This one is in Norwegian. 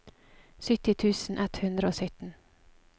sytti tusen ett hundre og sytten